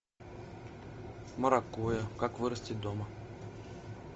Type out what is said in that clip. маракуйя как вырастить дома